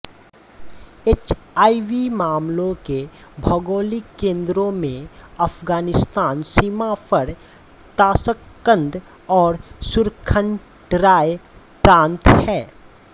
HIV मामलों के भौगोलिक केंद्रों में अफगानिस्तान सीमा पर ताशकंद और सुरखण्डराय प्रांत हैं